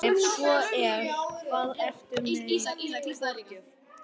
Ef svo er, hvað ertu með í forgjöf?